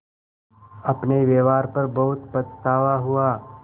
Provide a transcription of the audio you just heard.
अपने व्यवहार पर बहुत पछतावा हुआ